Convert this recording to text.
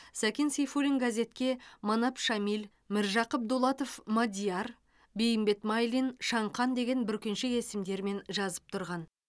сәкен сейфуллин газетке манап шамиль міржақып дулатов мадияр бейімбет майлин шаңқан деген бүркеншік есімдермен жазып тұрған